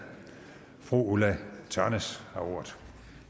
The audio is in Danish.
fru ulla tørnæs har ordet